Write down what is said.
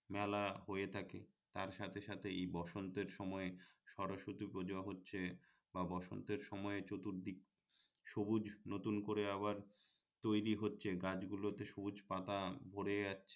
তার সাথেসাথে এই বসন্তের সময়ে সরস্বতী পূজো হচ্ছে বা বসন্তের সময়ে চতুর্দিক সবুজ নতুন করে আবার তৈরী হচ্ছে গাছগুলোতে সবুজ পাতা ভরে যাচ্ছে